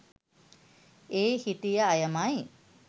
ඒ හිටිය අයමයි.